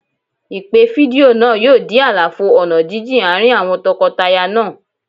Ìpè fídíò náà yóò dí àlàfo ọ̀nà jíjìn àárín àwọn tọkọtaya náà.